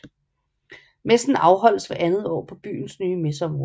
Messen afholdes hvert andet år på byens nye messeområde